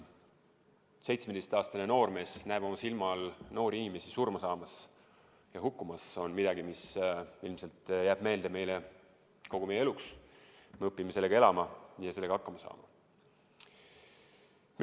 17-aastane noormees näeb oma silma all noori inimesi surma saamas, hukkumas – see on midagi, mis ilmselt jääb meelde kogu eluks, ent me õpime sellega elama ja sellega hakkama saama.